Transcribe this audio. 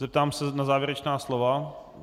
Zeptám se na závěrečná slova.